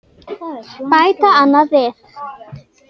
bætti annar við.